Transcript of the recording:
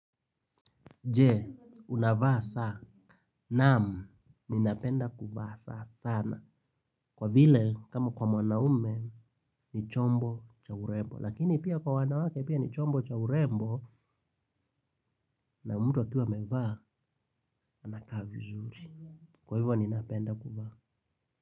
Je unavaa saa, naam napenda kuvaa saa sana kwa vile kama kwa wanaume ni chombo cha urembo lakini pia kwa wanawake pia ni chombo cha urembo na mtu akiwa amevaa anakaa vizuri. Kwa hivyo ninapenda kuvaa.